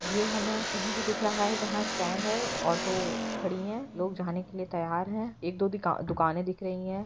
ये हमें कहीं का दिख रहा है जहाँ स्टैंड है ऑटो खड़ी है लोग जाने के लिए तैयार है एक-दो दिन का दुकान दिख रही है।